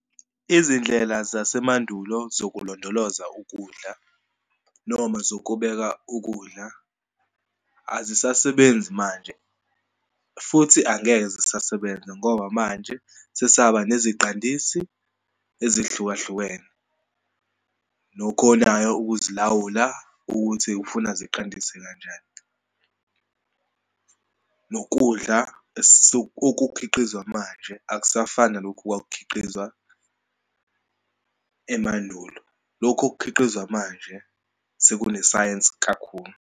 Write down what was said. Izindlela zasemandulo zokulondoloza ukudla noma zokubeka ukudla azisasebenzi manje, futhi angeke zisasebenza ngoba manje sesaba neziqandisi ezihlukahlukene, nokhonayo ukuzilawula ukuthi ufuna ziqandise kanjani. Nokudla okukhiqizwa manje akusafani nalokhu okwakukhiqizwa emandulo, lokhu okukhiqizwa manje sekunesayensi kakhulu.